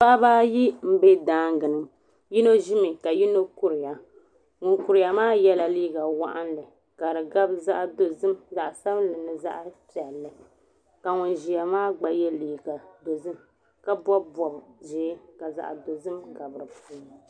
Paɣiba ayi n bɛ danga ni yino zi mi ka yino kuri ya ŋuni kuri ya maa yiɛ la liiga wɔɣinnli ka di gabi zaɣi dozim zaɣi sabinli ni zaɣi piɛlli ka ŋuni ziya maa gba yiɛ liiga dozim ka bɔbi bɔbi zɛɛ ka zaɣi dozim gabi di puuni.